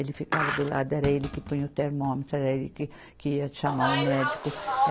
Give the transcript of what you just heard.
Ele ficava do lado, era ele que punha o termômetro, era ele que que ia chamar o médico.